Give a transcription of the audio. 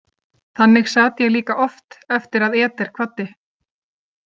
Þannig sat ég líka oft eftir að Eder kvaddi.